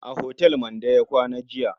A otal Mande ya kwana jiya.